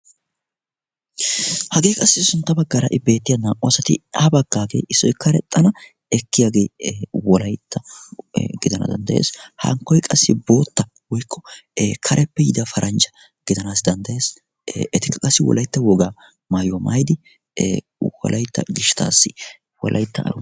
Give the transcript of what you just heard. Hagee sintta baggaara beettiyaa naa"u asati issoy karexxi ekkananiyaagee wolaytta gidana danddayees, hankkoy qassi bootta woykko kareppe yiida paranjja gidanaassi danddayees. ee etikka qassi wolaytta wogaa maayuwaa maayidi ee wolayytta gishshatassi wolaytta.